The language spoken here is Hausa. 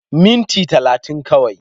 Minti 30 kawai.